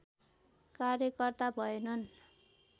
कार्यकर्ता भएनन्